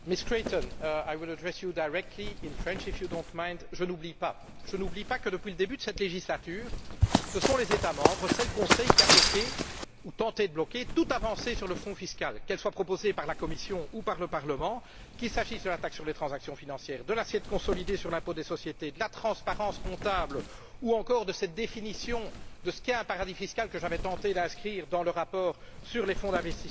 Monsieur le Président, Madame Creighton, je n'oublie pas que, depuis le début de cette législature, ce sont les États membres, c'est le Conseil, qui a bloqué ou tenté de bloquer toute avancée sur le front fiscal, qu'elle soit proposée par la Commission ou par le Parlement, qu'il s'agisse de la taxe sur les transactions financières, de l'assiette consolidée sur l'impôt des sociétés, de la transparence comptable ou encore de la définition de ce qu'est un paradis fiscal que j'avais tenté d'inscrire dans le rapport sur les fonds d'investissement de capital risque.